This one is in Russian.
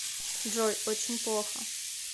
джой очень плохо